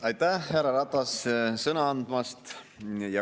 Aitäh, härra Ratas, sõna andmast!